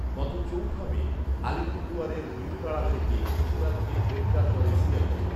গত চৌঠা মে আলিপুরদুয়ারের বীরপাড়া থেকে খুশিনাথকে গ্রেফতার করে সিআইডি